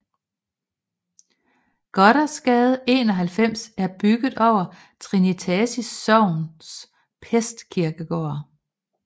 Gothersgade 91 er bygget over Trinitatis Sogns pestkirkegård